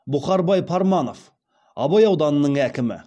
бұхарбай парманов абай ауданының әкімі